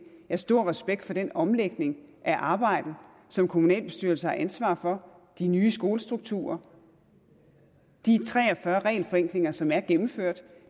har stor respekt for den omlægning af arbejdet som kommunalbestyrelserne har ansvaret for de nye skolestrukturer de tre og fyrre regelforenklinger som er gennemført